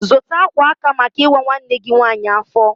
Zụta akwa aka maka ịwa nwanne gị nwanyị afọ!